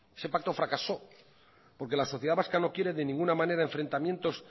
ese pacto fracasó porque la sociedad vasca no quiere de ninguna manera enfrentamientos